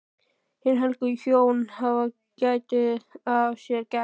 Hin helgu hjón hafa getið af sér gæs.